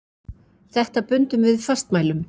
Þetta bundum við fastmælum.